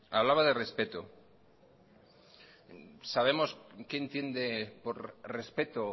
hablaba de respeto sabemos qué entiende por respeto